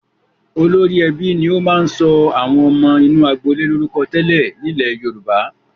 Olórí ẹbí ni ó máa ń sọ àwọn ọmọ inú agboolé lórúkọ tẹ́lẹ̀ nílẹ̀ Yorùbá.